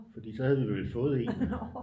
Fordi så havde vi vel fået en